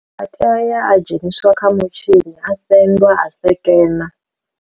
A teya uya a dzheniswa kha mutshini a senḓwa a sekena.